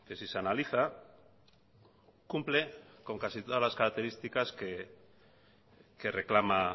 si se analiza cumple con casi todas las características que reclama